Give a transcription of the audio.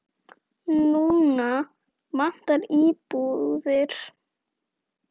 Núna vantar íbúðir.